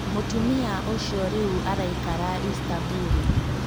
Mũtumia ũcio rĩu araikara Istaburu.